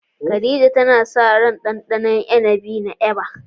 Khadija tana sa ran ɗanɗana ruwan inibi na "Eva"